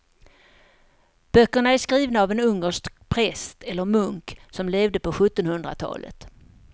Böckerna är skrivna av en ungersk präst eller munk som levde på sjuttonhundratalet.